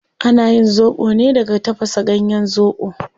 Ana yin zobo ne daga tafasa ganyen zobo